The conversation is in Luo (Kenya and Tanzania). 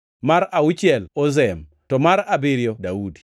mar auchiel Ozem, to mar abiriyo Daudi.